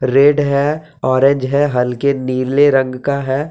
Red है orange है हल्के नीले रंग का है।